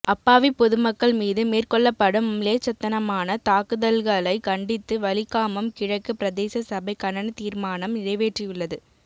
அப்பாவிப்பொதுமக்கள் மீது மேற்கொள்ளப்படும் மிலேச்சத்தனமான தாக்குதல்களை கண்டித்து வலிகாமம் கிழக்கு பிரதேச சபை கண்டனத்தீர்மானம் நிறைவேற்றியுள்ளது